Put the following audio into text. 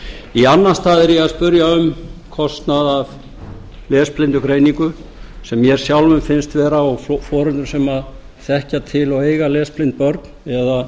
í annan stað er ég að spyrja um kostnað af lesblindugreiningu sem mér sjálfum finnst vera og foreldrum sem þekkja til og eiga lesblind börn eða